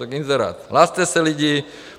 Tak inzerát, hlaste se, lidi.